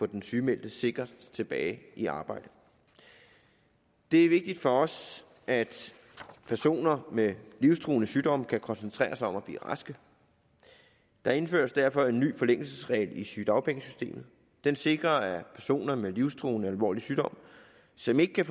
den sygemeldte sikkert tilbage i arbejde det er vigtigt for os at personer med livstruende sygdom kan koncentrere sig om at blive rask der indføres derfor en ny forlængelsesregel i sygedagpengesystemet den sikrer at personer med livstruende alvorlig sygdom som ikke kan